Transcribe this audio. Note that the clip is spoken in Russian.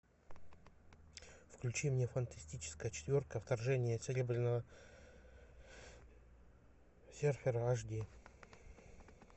включи мне фантастическая четверка вторжение серебряного серфера аш ди